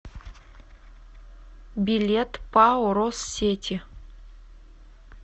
билет пао россети